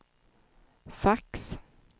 fax